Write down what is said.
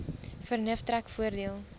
vernuf trek voordeel